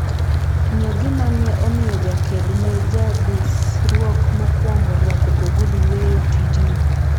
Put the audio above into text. ng'e gima ne omiyo jaked ne jadusruok mokuongo rwako ogudu weyo tijno